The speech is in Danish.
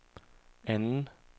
anden